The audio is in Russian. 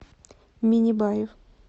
миннибаев